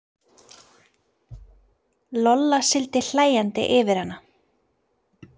Lolla sigldi hlæjandi yfir hana.